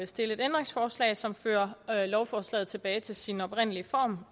stille et ændringsforslag som fører lovforslaget tilbage til sin oprindelige form